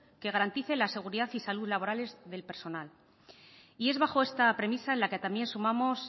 que garantice la seguridad y salud laborales del personal y es bajo esta premisa en la que también sumamos